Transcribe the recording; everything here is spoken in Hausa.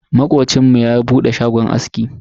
Makocinmu ya bude shagon aski.